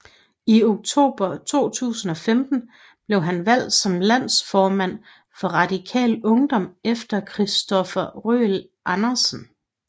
I oktober 2015 blev han valgt som landsformand for Radikal Ungdom efter Christopher Røhl Andersen